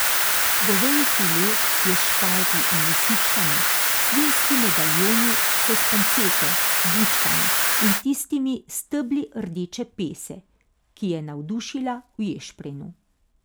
Goveji file je s šparglji in lisičkami, svinjski medaljoni so s panceto, bučkami in tistimi stebli rdeče pese, ki je navdušila v ješprenju.